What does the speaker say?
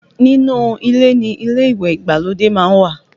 Nínú ilé ni ilé ìwẹ̀ ìgbàlódé má ń wà